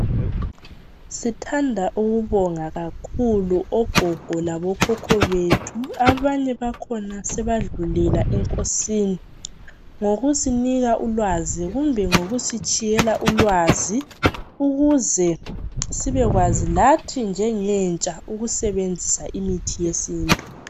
Sithanda ukubonga kakhulu ogogo labo khokho bethu abanye bakhona sebadlulela enkosini ngokusinika ulwazi kumbe ngokusitshiyela ulwazi ukuze sibekwazi lathi njengentsha ukusebenzisa imithi yesintu.